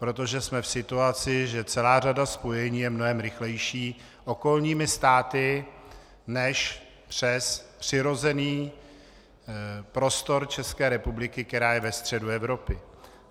Protože jsme v situaci, že celá řada spojení je mnohem rychlejší okolními státy než přes přirozený prostor České republiky, která je ve středu Evropy.